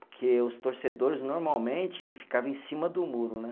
Porque os torcedores normalmente ficava em cima do muro, né?